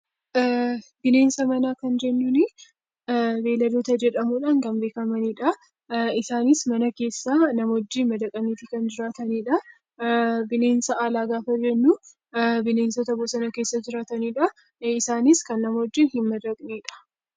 Bineensa manaa kan jennuun, beeyilada jedhamuun kan beekamanidha. Isaanis mana keessa nama wajjin madaqanii kan jiraatanidha. Bineensota alaa gaafa jennu, bineensota bosonaa fi daggala keessa jiraatanidha. Isaanis kan nama wajjin hin madaqnedha.